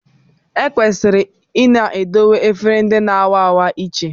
Ekwesịrị ịna edowe efere ndị na-a wa awa iche